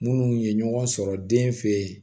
Munnu ye ɲɔgɔn sɔrɔ den fɛ yen